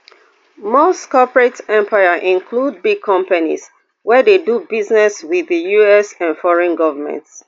musk corporate empire include big companies wey dey do business wit di us and foreign goments